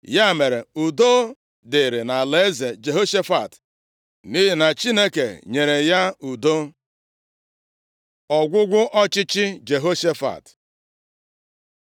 Ya mere, udo dịrị nʼalaeze Jehoshafat, nʼihi na Chineke nyere ya udo. Ọgwụgwụ ọchịchị Jehoshafat